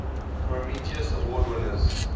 prometheus award winners